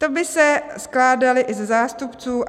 To by se skládaly i ze zástupců...